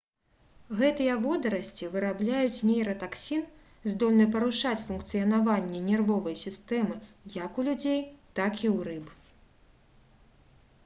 гэтыя водарасці вырабляюць нейратаксін здольны парушаць функцыянаванне нервовай сістэмы як у людзей так і ў рыб